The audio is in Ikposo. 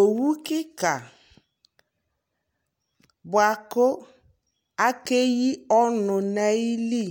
Owu kika bua ku akɛyi ɔnu na yi li